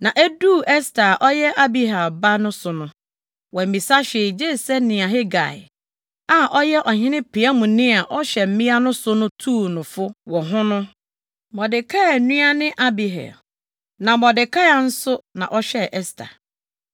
Na eduu Ɛster a ɔyɛ Abihail ba no so no, wammisa hwee gye sɛ nea Hegai a ɔyɛ ɔhene piamni a ɔhwɛ mmea no so no tuu no fo wɔ ho no (Mordekai nua ne Abihail, na Mordekai nso ha ɔhwɛɛ Ɛster).